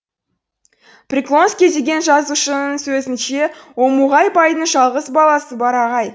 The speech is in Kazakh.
приклонский деген жазушының сөзінше омуғай байдың жалғыз баласы барағай